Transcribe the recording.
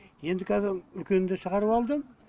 енді қазір үлкенін де шығарып алдым